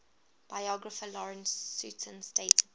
biographer lawrence sutin stated that